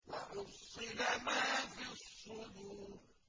وَحُصِّلَ مَا فِي الصُّدُورِ